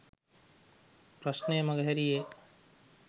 ප්‍රශ්නය මඟහැරීයේ ය